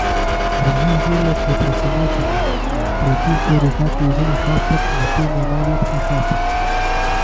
Drugi izdelek je Presenečenje, tretji pa v rokah vezani šopek na temo Najlepši šopek.